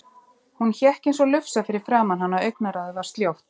Hún hékk eins og lufsa fyrir framan hann og augnaráðið var sljótt.